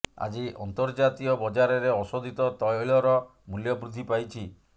ଆଜି ଅନ୍ତର୍ଜାତୀୟ ବଜାରରେ ଅଶୋଧିତ ତୈଳର ମୂଲ୍ୟ ବୃଦ୍ଧି ପାଇଛି